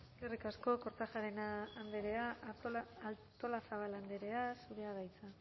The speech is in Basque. eskerrik asko kortajarena andrea artolazabal andrea zurea da hitza